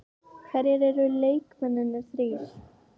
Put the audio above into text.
Hverjir eru leikmennirnir þrír?